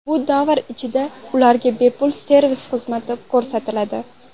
Bu davr ichida ularga bepul servis xizmati ko‘rsatiladi.